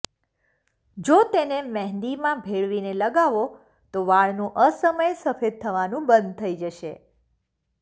જો તેને મહેંદીમાં ભેળવીને લગાવો તો વાળનું અસમયે સફેદ થવાનું બંધ થઈ જશે